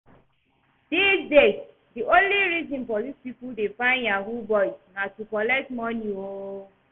Dis days, the only reason police people dey find yahoo boys na to collect money oo